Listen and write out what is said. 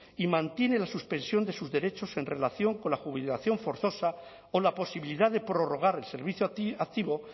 y mantiene la suspensión de sus derechos en relación con la jubilación forzosa o la posibilidad de prorrogar el servicio activo